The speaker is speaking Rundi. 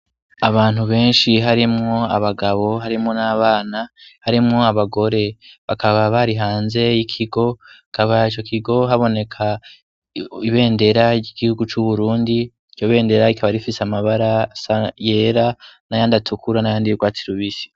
Abantu benshi harimwo abagabo, harimwo n'abana, harimwo abagore, bakaba bari hanze y'ikigo, hakaba ico kigo haboneka ibendera ry'igihugu c'Uburundi, iryo bendera rikaba rifise amabara asa yera n'ayandi atukura n'ayandi y'urwatsi rubisi.